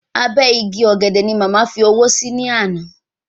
Abẹ́ igi ọ̀gẹ̀dẹ̀ ni màmá fi owó sí ní àná